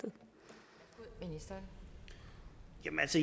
men